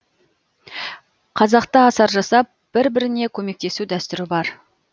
қазақта асар жасап бір біріне көмектесу дәстүрі бар